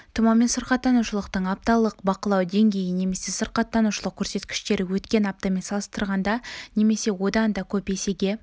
тұмаумен сырқаттанушылықтың апталық бақылау деңгейі немесе сырқаттанушылық көрсеткіштері өткен аптамен салыстырғанда немесе одан да көп есеге